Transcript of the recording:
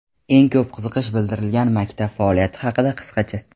Eng ko‘p qiziqish bildirilgan maktab faoliyati haqida qisqacha:.